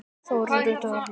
Þórunn Rut og Erling.